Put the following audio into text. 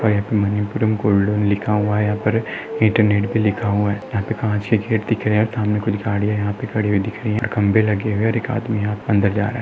और यहा पर मनपुरम गोल्ड लोन लिखा हुआ है यहा पर इंटरनेट भी लिखा हुआ है यहा पे काच के गेट दिख रहे है सामने कुछ गाड़ीया यहा पे खड़ी हुई दिख रही है और खंबे लगे हुये है और एक आदमी अंदर जा रहा।